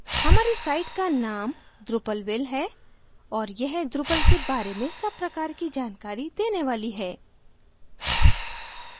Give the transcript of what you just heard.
हमारी site का name drupalville है और यह drupal के बारे में सब प्रकार की जानकारी देने वाली है